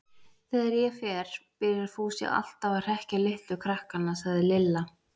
Þegar ég fer byrjar Fúsi alltaf að hrekkja litlu krakkana, sagði Lilla.